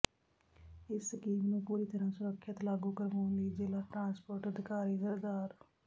ਇਸ ਸਕੀਮ ਨੂੰ ਪੂਰੀ ਤਰਾਂ ਸੁਰੱਖਿਅਤ ਲਾਗੂ ਕਰਵਾਉਣ ਲਈ ਜ਼ਿਲਾ ਟਰਾਂਸਪੋਰਟ ਅਧਿਕਾਰੀ ਸ